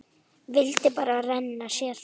Vildi bara renna sér.